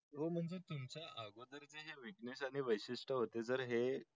म्हणजे तुमच अगोदर हे च वैषिष्ठ होत जर हे